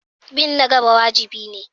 Bin na gaba wajibi ne.